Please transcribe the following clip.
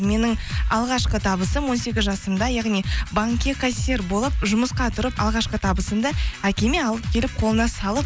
менің алғашқы табысым он сегіз жасымда яғни банкке кассир болып жұмысқа тұрып алғашқы табысымды әкеме алып келіп қолына салып